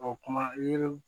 O kuma yiri